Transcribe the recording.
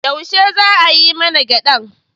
Yaushe za a yi man gyadan?